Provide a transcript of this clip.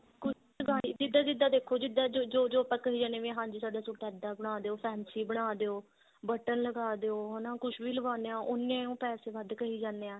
ਜਿੱਦਾਂ ਜਿੱਦਾਂ ਦੇਖੋ ਜੋ ਜੋ ਆਪਾਂ ਕਹੀ ਜਾਂਦੇ ਹਾਂ ਵੀ ਹਾਂਜੀ ਸਾਡਾ suit ਇੱਦਾਂ ਬਨਾਦਿਓ fancy ਬਨਾਦਿਓ button ਲਗਾਦਿਓ ਹਨਾ ਕੁੱਝ ਵੀ ਲਗਾਉਂਦੇ ਹਾਂ ਉਹ ਪੈਸੇ ਵੱਧ ਕਹੀ ਜਾਂਦੇ ਆ